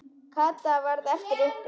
Kata varð eftir uppi.